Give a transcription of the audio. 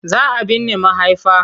Za a binne mahaifa.